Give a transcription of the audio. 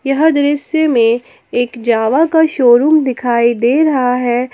यह दृश्य में एक जावा का शोरूम दिखाई दे रहा है।